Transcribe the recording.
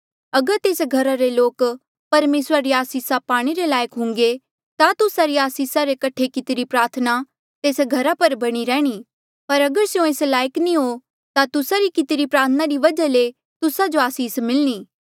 अगर तेस घरा रे लोक परमेसरा री आसीसा पाणे रे लायक हुन्घे ता तुस्सा री आसीसा रे कठे कितिरी प्रार्थना तेस घरा पर बणी रैंहणीं पर अगर स्यों एस लायक नी हो ता तुस्सा री कितिरी प्रार्थना री वजहा ले तुस्सा जो आसीस मिलणी